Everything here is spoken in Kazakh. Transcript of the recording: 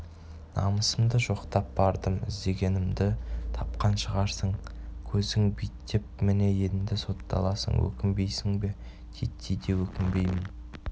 намысымды жоқтап бардым іздегеніңді тапқан шығарсың көзің биттеп міне енді сотталасың өкінбейсің бе титтей де өкінбеймін